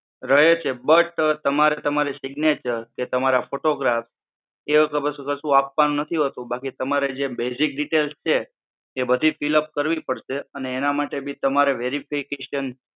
રહે છે. but તમારે તમારી signature કે તમારા photograph એવું બસુકશું આપવાનું નથી હોતું, તમારી જે basic details છે એ બધી fill up કરવી પડશે એના માટે ભી તમારે verification